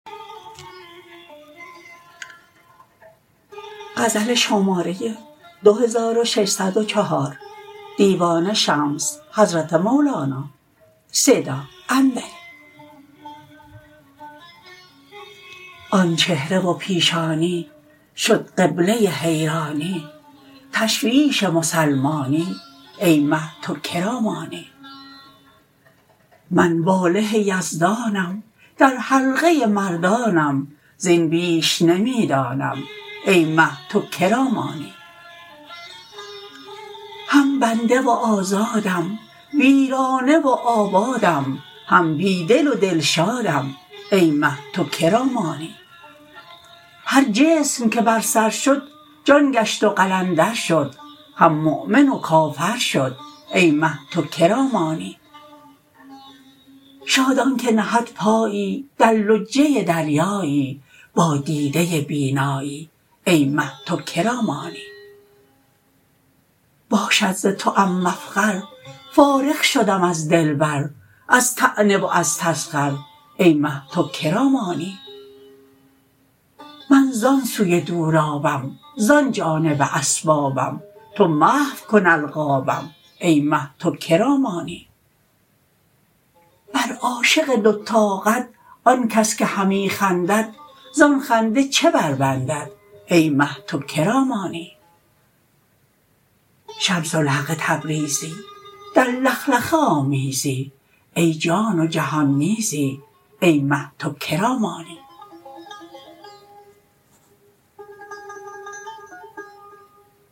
آن چهره و پیشانی شد قبله حیرانی تشویش مسلمانی ای مه تو که را مانی من واله یزدانم در حلقه مردانم زین بیش نمی دانم ای مه تو که را مانی هم بنده و آزادم ویرانه و آبادم هم بی دل و دلشادم ای مه تو که را مانی هر جسم که بر سر شد جان گشت و قلندر شد هم مؤمن و کافر شد ای مه تو که را مانی شاد آنک نهد پایی در لجه دریایی با دیده بینایی ای مه تو که را مانی باشد ز توام مفخر فارغ شدم از دلبر از طعنه و از تسخر ای مه تو که را مانی من زان سوی دولابم زان جانب اسبابم تو محو کن القابم ای مه تو که را مانی بر عاشق دوتاقد آن کس که همی خندد زان خنده چه بربندد ای مه تو که را مانی شمس الحق تبریزی در لخلخه آمیزی ای جان و جهان می زد ای مه تو که را مانی